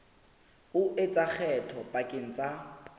o etsa kgetho pakeng tsa